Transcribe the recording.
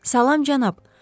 Salam, cənab.